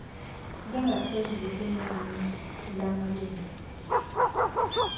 lingaphezulu kunenani lamalungu